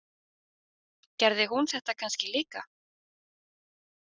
Gerði hún þetta kannski líka?